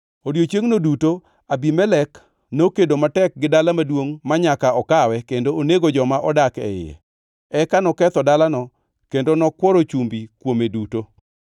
Odiechiengno duto Abimelek nokedo matek gi dala maduongʼ manyaka okawe kendo onego joma nodak e iye. Eka noketho dalano kendo nokworo chumbi kuome duto.